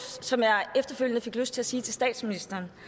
som jeg efterfølgende fik lyst til at sige til statsministeren